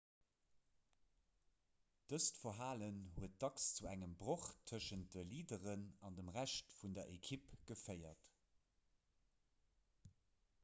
dëst verhalen huet dacks zu engem broch tëschent de leaderen an dem rescht vun der ekipp geféiert